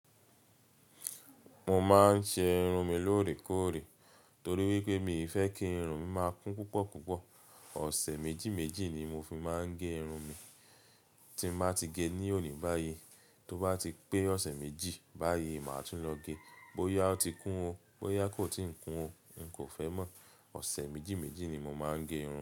Mo máa ń ṣe irun mi lóòrèkóòrè torí wípé mii fẹ́ kí irun mi máa kún púpọ̀ púpọ̀. Ọ̀sẹ̀ méjì méjì ni mo fi máa ń gé irun mi. Tí mo bá ti gée ní òní báyìí, tó bá ti pé ọ̀sẹ̀ méjì báyìí, màá tún lọ gẹ. Bóyá oti kún o, bóyá kò tii kún o, n kò fẹ́ mọ̀. Ọ̀sẹ̀ méjì méjì ni mo máa ń ge irun.